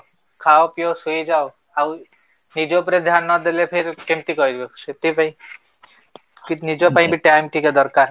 ଖାଅ ପିଅ ଶୋଇଯାଅ ଆଉ ନିଜ ଉପରେ ଧ୍ୟାନ ନ ଦେଲେ କେମିତି କରିବ ସେଥି ପାଇଁ ଠିକ ନିଜ ପାଇଁ ବି time ଟିକେ ଦରକାର